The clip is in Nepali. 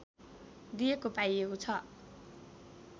दिइएको पाइएको छ